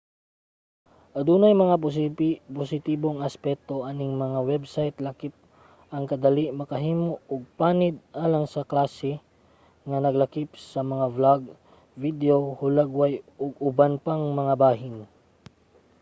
adunay mga positibong aspeto aning mga website lakip ang kadali makahimo og panid alang sa klase nga naglakip sa mga blog video hulagway ug uban pang mga bahin